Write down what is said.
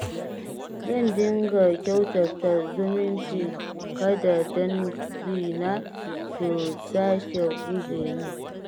Zan dinga kyautata zumunci kada dangina su sake guje min